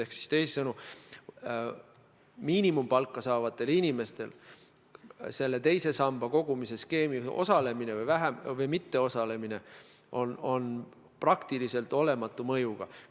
Ehk teisisõnu: miinimumpalka saavatel inimestel on teise samba kogumisskeemis osalemine või mitteosalemine praktiliselt olematu mõjuga.